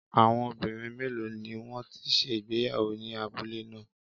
Àwọn obìnrin méèló ni wọ́n ti ṣe ìgbéyàwó ní abúlé ná à?